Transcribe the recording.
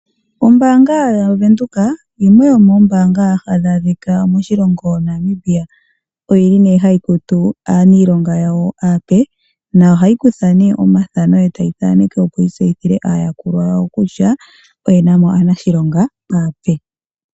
Ombaanga yaVenduka yimwe yomoombaanga hadhi adhika moshilongo Namibia. Oyili hayi kutu aaniilonga yawo aape, nayo ohayi kutha omafano etayi thaneke opo yi tseyithile aayakulwa yawo kutya oyena mo aanashilonga aape.